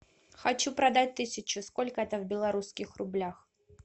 хочу продать тысячу сколько это в белорусских рублях